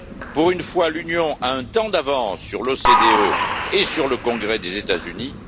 Pour une fois, l'Union a un temps d'avance sur l'OCDE et sur le Congrès des États Unis.